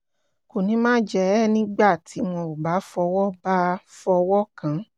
kò ní máa jẹ ẹ́ nígbà tí wọn ò bá fọwọ́ bá fọwọ́ kàn án